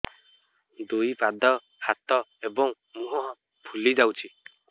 ଦୁଇ ପାଦ ହାତ ଏବଂ ମୁହଁ ଫୁଲି ଯାଉଛି